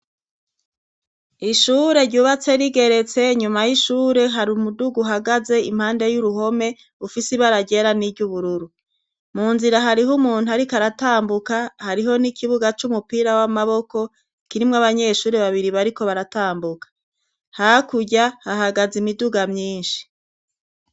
Ishure ryubatse rigeretse, inyuma y'ishure hari umuduga uhagaze. Impande y'uruhome ufise ibara ryera n'iryubururu. Mu nzira hariho umuntu ariko aratambuka, hariho n'ikibuga c'umupira w'amaboko kirimwo abanyeshuri babiri bariko baratambuka. Hakurya hahagaze imiduga myinshi.